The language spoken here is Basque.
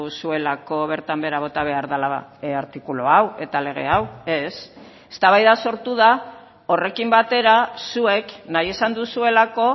zuelako bertan behera bota behar dela artikulu hau eta lege hau ez eztabaida sortu da horrekin batera zuek nahi izan duzuelako